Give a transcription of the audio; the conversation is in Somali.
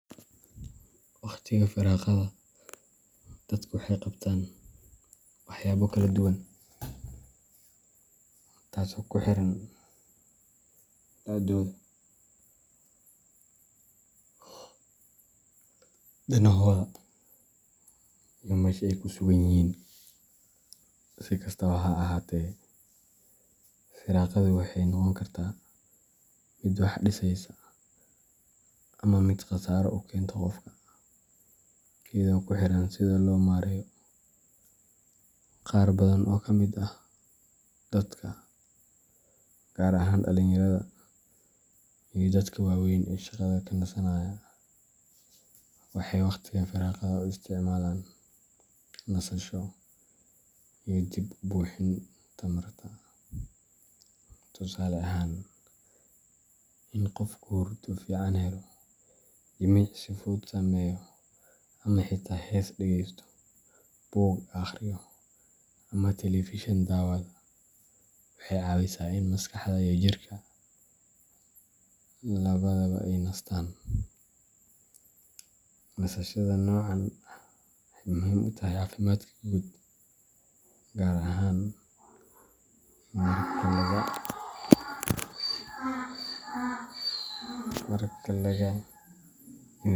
Waqtiga firaaqada, dadku waxay qabtaan waxyaabo kala duwan, taasoo ku xiran da'dooda, danahooda, iyo meesha ay ku sugan yihiin. Si kastaba ha ahaatee, firaaqadu waxay noqon kartaa mid wax dhisaysa ama mid khasaaro u keenta qofka, iyadoo ku xiran sida loo maareeyo. Qaar badan oo ka mid ah dadka, gaar ahaan dhallinyarada iyo dadka waaweyn ee shaqada ka nasanaya, waxay waqtiga firaaqada u isticmaalaan nasasho iyo dib u buuxin tamarta. Tusaale ahaan, in qofku hurdo fiican helo, jimicsi fudud sameeyo, ama xitaa hees dhegeysto, buug akhriyo, ama telefishin daawado waxay caawisaa in maskaxda iyo jirka labadaba ay nastaan. Nasashada noocan ah waxay muhiim u tahay caafimaadka guud, gaar ahaan marka laga yimid.